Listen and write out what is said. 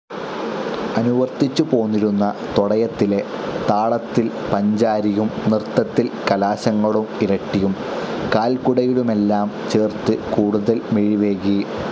അനുവർത്തിച്ചുപോന്നിരുന്ന തോടയത്തിലെ താളത്തിൽ പഞ്ചാരിയും നൃത്തത്തിൽ കലാശങ്ങളും ഇരട്ടിയും കാൽകുടയലുമെല്ലാം ചേർത്ത് കൂടുതൽ മിഴിവേകി.